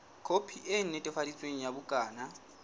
khopi e netefaditsweng ya bukana